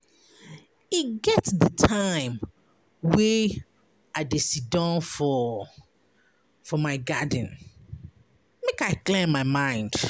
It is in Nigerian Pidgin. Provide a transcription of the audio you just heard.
E get di time wey I dey siddon for for my garden make I clear my mind.